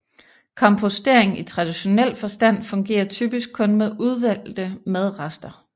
Kompostering i traditionel forstand fungerer typisk kun med udvalgte madrester